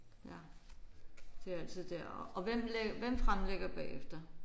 Ja det er altid der. Og hvem hvem fremlægger bagefter?